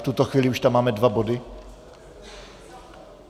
V tuto chvíli už tam máme dva body.